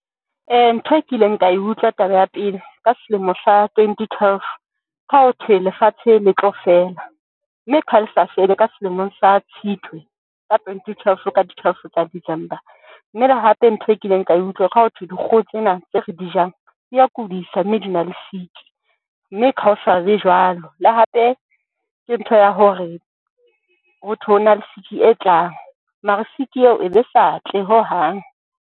Ntho e kileng ka e utlwa taba ya pele ka selemo sa twenty twelve, ke ha hothwe lefatshe le tlo fela mme ke ha le sa fele ka selemong sa Tshitwe ka twenty twelve ka di twelve tsa December. Mme le hape ntho e kileng ka e utlwa ka ho thwe dikgoho tsena tse re di jang di a kudisa, mme di na le siki mme kaosane be jwalo le hape ke ntho ya hore ho thwe, ho na le siki e tlang mara siki eo e be sa tle ho hang.